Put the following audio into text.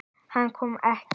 Hann kom ekki.